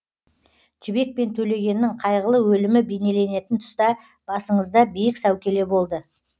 жібек пен төлегеннің қайғылы өлімі бейнеленетін тұста басыңызда биік сәукеле болды